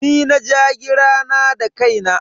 Ni na ja gira na da kaina.